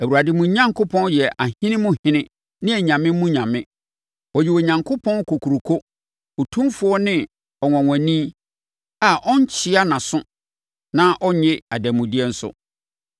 Awurade mo Onyankopɔn yɛ ahene mu hene ne anyame mu nyame. Ɔyɛ Onyankopɔn kokuroko, otumfoɔ ne ɔnwanwani a ɔnkyea nʼaso na ɔnnye adanmudeɛ nso.